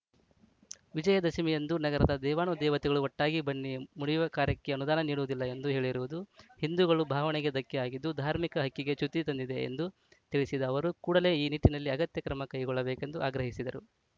ವಿಜಯದಶಮಿಯಂದು ನಗರದ ದೇವಾನುದೇವತೆಗಳು ಒಟ್ಟಾಗಿ ಬನ್ನಿ ಮುಡಿಯುವ ಕಾರ್ಯಕ್ಕೆ ಅನುದಾನ ನೀಡುವುದಿಲ್ಲ ಎಂದು ಹೇಳಿರುವುದು ಹಿಂದುಗಳ ಭಾವನೆಗೆ ಧಕ್ಕೆ ಆಗಿದ್ದು ಧಾರ್ಮಿಕ ಹಕ್ಕಿಗೆ ಚ್ಯುತಿ ತಂದಿದೆ ಎಂದು ತಿಳಿಸಿದ ಅವರು ಕೂಡಲೇ ಈ ನಿಟ್ಟಿನಲ್ಲಿ ಅಗತ್ಯ ಕ್ರಮ ಕೈಗೊಳ್ಳಬೇಕೆಂದು ಆಗ್ರಹಿಸಿದರು